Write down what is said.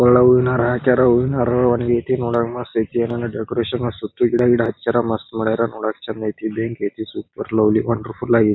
ಕೊಲ್ಲಾಗ್ ಹೂವಿನ ಹಾರ ಹಾಕ್ಯರ. ಹೂವಿನ ಹಾರ ಒಣಗೈತಿ. ನೋಡಕ ಮಸ್ತ್ ಐತಿ ಯಲ್ಲನು ಡೆಕೋರೇಷನ್ ಸುತ್ತು ಗಿಡ ಗಿಡ ಹಚ್ಚ್ಯಾರ್ ಮಸ್ತ್ ಮಾಡ್ಯಾರ ನೋಡಕ್ ಚಂದ್ ಐತಿ ಭ್ಯಂಕಿ ಐತಿ. Super lovely wonderful ಆಗೈ--